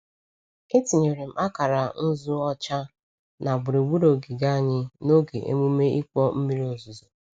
Etinyere m akara nzu ọcha na gburugburu ogige anyị n'oge emume ịkpọ mmiri ozuzo.